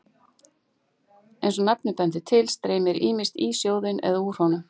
Eins og nafnið bendir til streymir ýmist í sjóðinn eða úr honum.